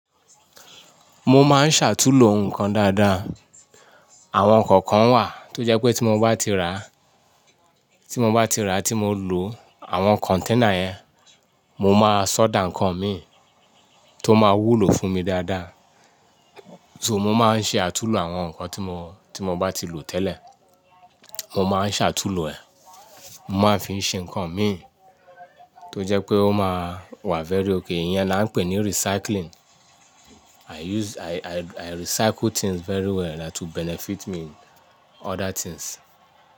Mo máa ń ṣàtúnlo nǹkan dáadáa. Àwọn ǹkan kan wà tó jẹ́ pé tí mo bá ti rà, tí mo bá ti rà tí mo lò, àwọn container yẹn, mo máa soda ǹkan mi tó máa wúlò fún mi dáadáa. So mo máa ń ṣe àtúnlo àwọn ǹkan tí mo, tí mo bá ti lò tẹ́lẹ̀. Mo máa ń ṣàtúnlo ẹ̀. Mo máa ń fi ṣe ǹkan mi, tó jẹ́ pé ó máa wà very okay. Iyẹn la ń pè ní recycling. I use, I, I, I recycle things very well that will benefit me in other things.